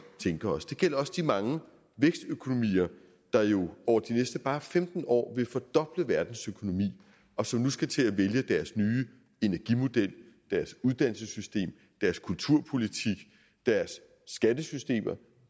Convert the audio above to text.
tænke os det gælder også de mange vækstøkonomier der jo over de næste bare femten år vil fordoble verdens økonomi og som nu skal til at vælge deres nye energimodel deres uddannelsessystem deres kulturpolitik deres skattesystem og